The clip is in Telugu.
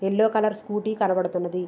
ఎల్లో కలర్ స్కూటీ కనపడుతున్నది.